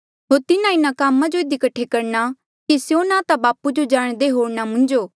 होर स्यों तिन्हा कामा जो इधी कठे करणे कि स्यों ना ता बापू जाणदे होर ना हांऊँ